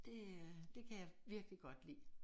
Det er det kan jeg virkelig godt lide